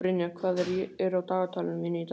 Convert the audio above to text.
Brynja, hvað er á dagatalinu mínu í dag?